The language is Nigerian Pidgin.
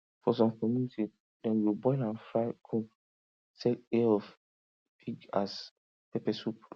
for some community dem go boil and fry come sell ear of pig as pepper soup